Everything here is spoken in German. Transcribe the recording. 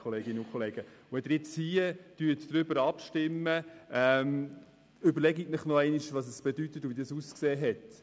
Bevor Sie abstimmen, überlegen Sie sich, was das bedeutet und wie das ausgesehen hat.